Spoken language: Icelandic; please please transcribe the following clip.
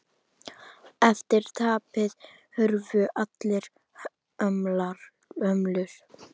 Eftir tapið hurfu allar hömlur.